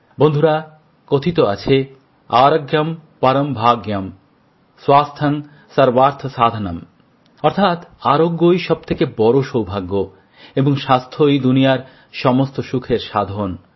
বন্ধুরা কথিত আছে আরোগ্যমপরমভাগ্যম স্বাস্থ্যংসর্বার্থসাধনম অর্থাৎ আরোগ্যই সবচেয়ে বড় সৌভাগ্য এবং স্বাস্থ্যই দুনিয়ার সমস্ত সুখের সাধন